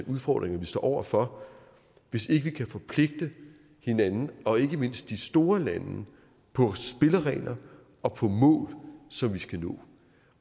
udfordringer vi står over for hvis ikke vi kan forpligte hinanden og ikke mindst de store lande på spilleregler og på mål som vi skal nå